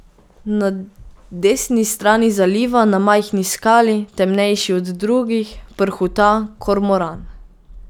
Na desni strani zaliva na majhni skali, temnejši od drugih, prhuta kormoran.